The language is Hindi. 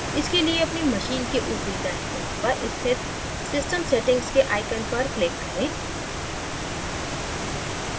इसके लिए अपनी machine के ऊपरी दाएँ कोने पर स्थित system settings के icon पर click करें